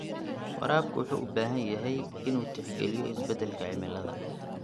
Waraabka wuxuu u baahan yahay inuu tixgeliyo isbeddelka cimilada.